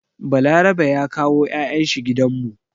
Balarabe ya kawo 'ya'yan shi gidan mu.